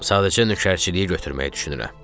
Sadəcə nökərçiliyi götürməyi düşünürəm.